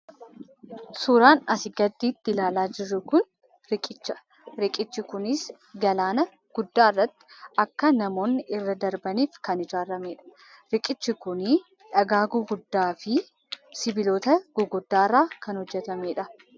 Suuraan asii gaditti ilaalaa jirru kun riqichadha. Riqichi kunis galaana guddaarratti akka namoonni irra darbaniif kan ijaarramedha. Riqichi kunii dhagaa gurguddaafi sibiilota gurguddaarraa kan hojjatamedha.